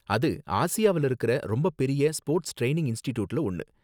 அது ஆசியாவுல இருக்குற ரொம்ப பெரிய ஸ்போர்ட்ஸ் டிரைனிங் இன்ஸ்ட்டிட்யூட்ல ஒன்னு.